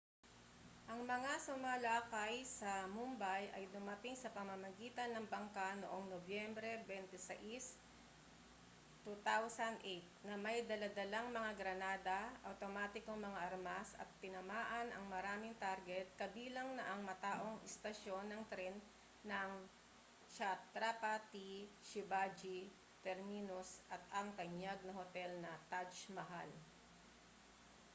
ang mga sumalakay sa mumbai ay dumating sa pamamagitan ng bangka noong nobyembre 26 2008 na may dala-dalang mga granada awtomatikong mga armas at tinamaan ang maraming target kabilang na ang mataong istasyon ng tren ng chhatrapati shivaji terminus at ang tanyag na hotel na taj mahal